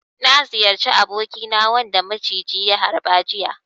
Na ziyarci abokina wanda ya maciji ya harba jiya.